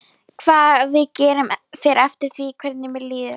Hvað við gerum fer eftir því hvernig mér líður.